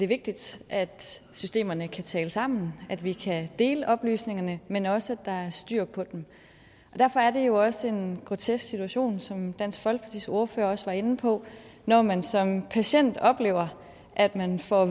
vigtigt at systemerne kan tale sammen at vi kan dele oplysningerne men også der er styr på dem derfor er det jo også en grotesk situation som dansk folkepartis ordfører også var inde på når man som patient oplever at man får